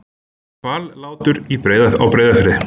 Hvallátur á Breiðafirði.